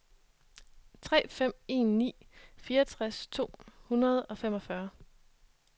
tre fem en ni fireogtres to hundrede og femogfyrre